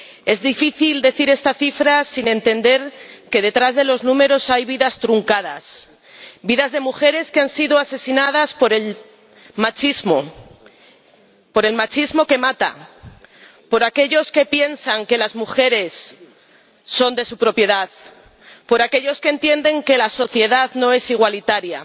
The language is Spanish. es difícil decir esta cifra sin entender que detrás de los números hay vidas truncadas, vidas de mujeres que han sido asesinadas por el machismo, por el machismo que mata, por aquellos que piensan que las mujeres son de su propiedad, por aquellos que entienden que la sociedad no es igualitaria.